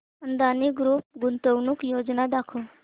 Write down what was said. Adani group गुंतवणूक योजना दाखव